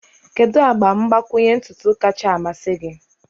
Kedu agba mgbakwunye ntutu kacha a mmasị gị?